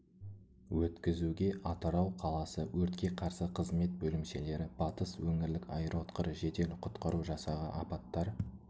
өткізуге атырау қаласы өртке қарсы қызмет бөлімшелері батыс өңірлік аэкроұтқыр жедел құтқару жасағы апаттар